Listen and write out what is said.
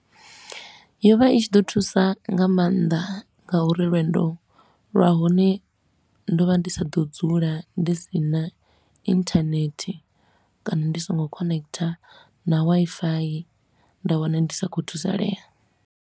Yo vha i tshi ḓo thusa nga maanḓa nga uri lwendo lwa hone ndo vha ndi sa ḓo dzula ndi si na internet kana ndi so ngo connecter na Wi-Fi, nda wana ndi sa khou thusalea.